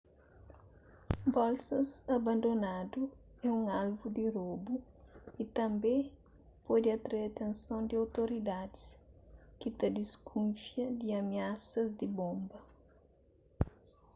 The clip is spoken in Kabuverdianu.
bolsas abandonadu é un alvu di robu y tanbê pode atrai atenson di outoridadis ki ta diskufia di amiasas di bonba